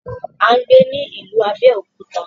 A ń gbé ní ìlú Abéòkúta.